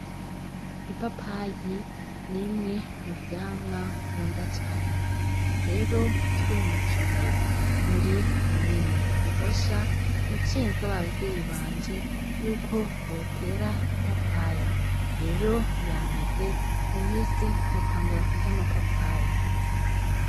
Ipapayi n'imwe mu vyamwa nkunda cane rero twimukiye muri komine Gihosha naciye nsaba abavyeyi banje ko botera ipapayi rero yameze mu minsi nzotangura kurya ipapayi.